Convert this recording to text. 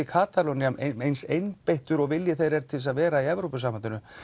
Katalónía eins einbeittur og vilji þeirra er til að vera í Evrópusambandinu